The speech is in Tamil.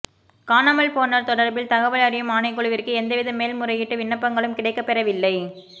காணாமல் போனோர் தொடர்பில் தகவல் அறியும் ஆணைக்குழுவிற்கு எந்தவித மேல்முறையீட்டு விண்ணப்பங்களும் கிடைக்கப்பெறவில்லை